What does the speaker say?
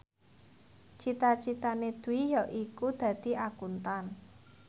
cita citane Dwi yaiku dadi Akuntan